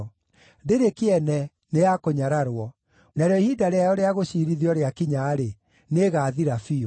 Ndĩrĩ kĩene, nĩ ya kũnyararwo; narĩo ihinda rĩayo rĩa gũciirithio rĩakinya-rĩ, nĩĩgathira biũ.